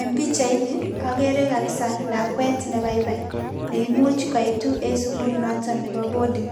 En pichait ni, agere kapsaa lakwet ne baibai. Ne imuch kaitu en sugul notok nebo boarding.